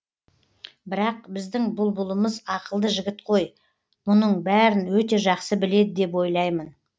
бірақ біздің бұлбұлымыз ақылды жігіт қой мұның бәрін өте жақсы біледі деп ойлаймын